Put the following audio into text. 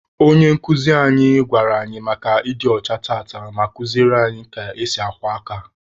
Onye nkuzi anyị gwara anyị maka ịdị ọcha tata, ma kuziere anyị ka esi akwọ aka.